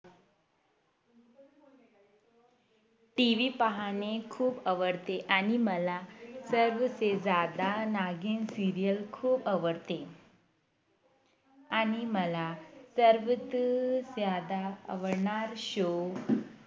TV पाहाणे खूप आवडते आणि मला सबसे ज्यादा नागिण Serial खूप आवडते आणि मला सर्वात जास्त आवडणार Show